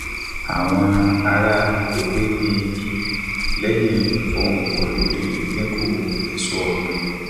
àwọn ará agbègbè gbin igi lẹyìn ìfọhùn pọ lórí ìdinku èso ọgbìn